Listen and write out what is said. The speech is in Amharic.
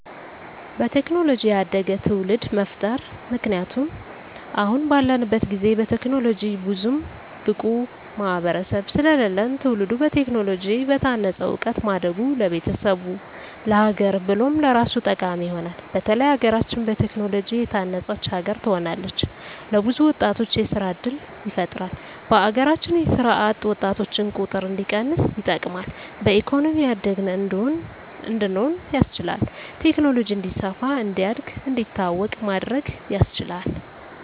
በቴክኖሎጂ ያደገ ትዉልድ መፍጠር ምክንያቱም አሁን ባለንበት ጊዜ በቴክኖሎጂ ብዙም ብቁ ማህበረሰብ ስለለለን ትዉልዱ በቴክኖሎጂ በታነፀ እዉቀት ማደጉ ለቤተሰቡ፣ ለሀገር ብሎም ለራሱ ጠቃሚ ይሆናል። በተለይ ሀገራችን በቴክኖሎጂ የታነፀች ሀገር ትሆናለች። ለብዙ ወጣቶች የስራ እድል ይፈጥራል በሀገራችን የስራ አጥ ወጣቶችን ቁጥር እንዲቀንስ ይጠቅማል። በኢኮኖሚ ያደግን እንድንሆን ያስችላል። ቴክኖሎጂ እንዲስፋ፣ እንዲያድግ፣ እንዲታወቅ ማድረግ ያስችላል።